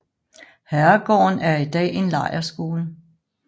Herregården er i dag en lejrskole